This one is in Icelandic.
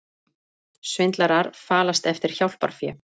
Svindlarar falast eftir hjálparfé